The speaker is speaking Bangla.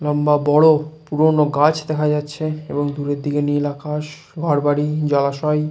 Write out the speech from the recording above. লম্বা বড় পুরোনো গাছ দেখা যাচ্ছে এবং ভেতর দিকে নীল আকাশ ঘরবাড়ি জলাশয়।